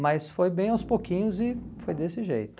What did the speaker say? Mas foi bem aos pouquinhos e foi desse jeito.